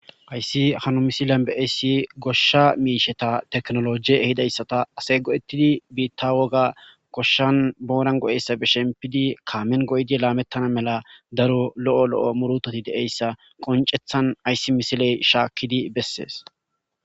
Hayssi hano misilan beeyssi goshsha miisheta teknolojie ehidayssata asey godettidi biitta woga koshshan boonan go7eyssa be shempidi kaamen go7idi laamettana mela daro lo7o lo7o murutoti de7eyssa qoncethan ayssi misiley shaakkidi bessees.